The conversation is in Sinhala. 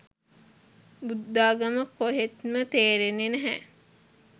බුද්දාගම කොහෙත්ම තේරෙන්නේ නැහැ.